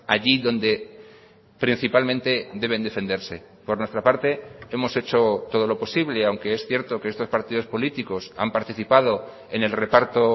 allí donde principalmente deben defenderse por nuestra parte hemos hecho todo lo posible aunque es cierto que estos partidos políticos han participado en el reparto